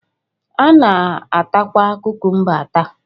A na-atakwa kukumba ata